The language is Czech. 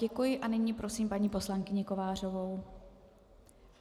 Děkuji a nyní prosím paní poslankyni Kovářovou.